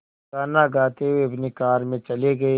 गाना गाते हुए अपनी कार में चले गए